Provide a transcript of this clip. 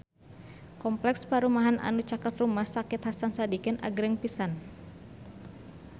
Kompleks perumahan anu caket Rumah Sakit Hasan Sadikin agreng pisan